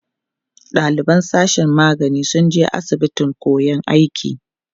ɗaliban sashen magani sun je asibitin koyan aiki